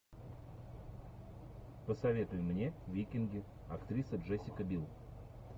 посоветуй мне викинги актриса джессика бил